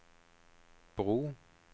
bro